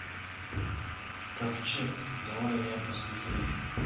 ковчег давай я посмотрю